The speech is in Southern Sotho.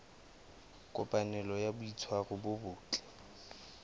kopanelo ya boitshwaro bo botle